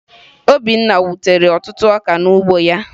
Obinna ewutere ọtụtụ ọka n'ugbo ya?